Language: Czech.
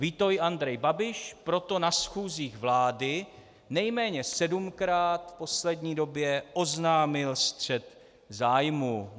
Ví to i Andrej Babiš, proto na schůzích vlády nejméně sedmkrát v poslední době oznámil střet zájmů.